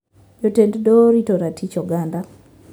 Jotend doho orito ratich oganda